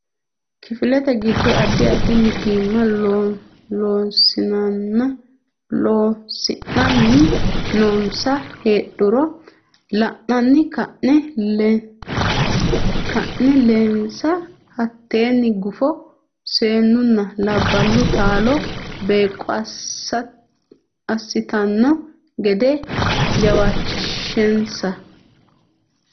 Kifilete giddo addi addi mitiimma Loossinanni noonsa heedhuro la anni kaa linsa hattenne gufo Seennunna labballu taalo beeqqo assitanno gede jawaachishinsa.